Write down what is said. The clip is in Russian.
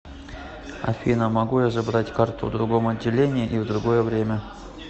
афина могу я забрать карту в другом отделении и в другое время